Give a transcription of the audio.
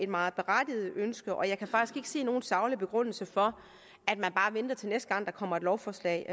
meget berettiget ønske og jeg kan faktisk ikke se nogen saglig begrundelse for at man bare venter til næste gang der kommer et lovforslag